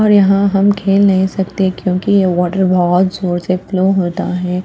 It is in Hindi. और यहाँ हम खेल नहीं सकते क्योंकि ये वाटर बहुत जोर से फ्लो होता है।